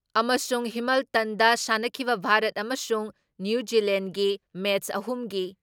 ꯑꯃꯁꯨꯨꯡ ꯍꯤꯃꯜꯇꯟꯗ ꯁꯥꯟꯅꯈꯤꯕ ꯚꯥꯔꯠ ꯑꯃꯁꯨꯡ ꯅꯤꯎ ꯖꯤꯂꯦꯟꯒꯤ ꯃꯦꯠꯁ ꯑꯍꯨꯝꯒꯤ